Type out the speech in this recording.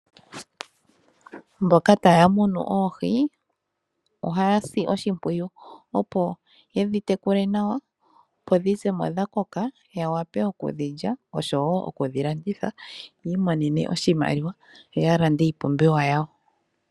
Mboka taya munu oohi ohaya si oshimpwiyu opo yedhi tekule nawa. Opo dhi zemo dha koka nawa ya wape okudhi lya. Oshowo okudhi landitha yi imonene oshimaliwa yoya lande iipumbiwa yawo.